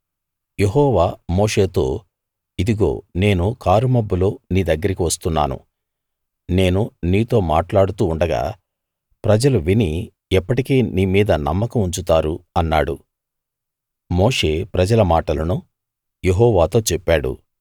యెహోవా మోషేతో ఇదిగో నేను కారుమబ్బులో నీ దగ్గరికి వస్తున్నాను నేను నీతో మాట్లాడుతూ ఉండగా ప్రజలు విని ఎప్పటికీ నీ మీద నమ్మకం ఉంచుతారు అన్నాడు మోషే ప్రజల మాటలను యెహోవాతో చెప్పాడు